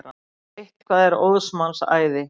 Eitthvað er óðs manns æði